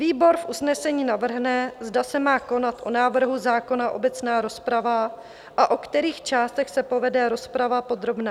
Výbor v usnesení navrhne, zda se má konat o návrhu zákona obecná rozprava a o kterých částech se povede rozprava podrobná.